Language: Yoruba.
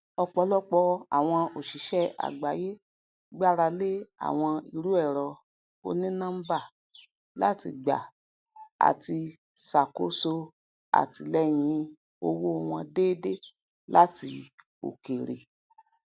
ọpọlọpọ àwọn oṣiṣẹ agbáyé gbára lé àwọn irúẹrọ onínọmbà láti gba àti ṣàkóso àtìlẹyìn owó wọn déédéé láti òkèèrè